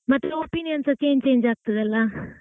ಮತ್ತೆ opinion ಸಾ change change ಆಗ್ತದಲ್ಲಾ.